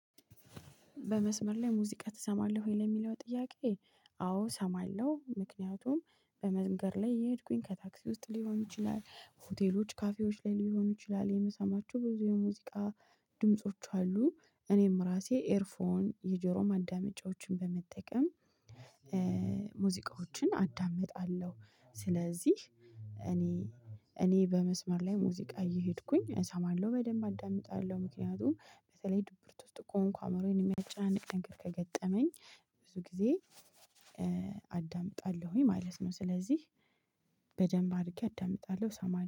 በመስመር ላይ ሙዚቃ ትሰማለህ ወይ ለሚለው ጥያቄ? አዎ እሰማለሁ። ምክንያቱም በመንገድ ላይ የሄድኩኝ ከታክሲ ውስጥ ሊሆን ይችላል ሆቴሎች ካፌዎች ላይ ሊሆኑ ይችላል የምሰማቸው ብዙ የሙዚቃ ድምጾች አሉ። እኔም ራሴ ኤርፎን የጆሮ ማዳመጫዎችን በመጠቀም ሙዚቃዎችን አዳምጣለሁ። ስለዚህ እኔ እኔ በመስመር ላይ ሙዚቃ እየሄድኩኝ እሰማለሁ በደንብ አዳምጣለሁ። ምክንያቱም በተለይ ድብርት ውስጥ ከሆንኩ አይምሮየን የሚያጨናንቅ ነገር ከገጠመኝ ብዙ ጊዜ አዳምጣለሁኝ ማለት ነው። ስለዚህ በደንብ አድርጌ አዳምጣለሁ እሰማለሁ